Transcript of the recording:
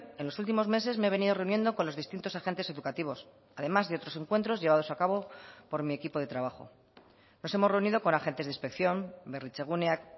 en los últimos meses me he venido reuniendo con los distintos agentes educativos además de otros encuentros llevados a cabo por mi equipo de trabajo nos hemos reunido con agentes de inspección berritzeguneak